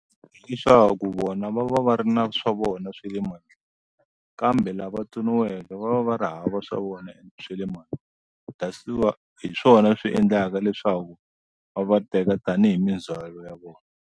Leswaku vona va va va ri na swa vona swa le mandleni kambe lava tsoniweke va va va ri hava swa vona swa le hi swona swi endlaka leswaku va va teka tanihi mindzwalo ya vona.